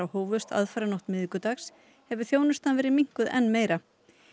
hófust aðfaranótt miðvikudags hefur þjónustan verið minnkuð enn meira